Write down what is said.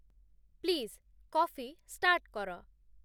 please coffee start କର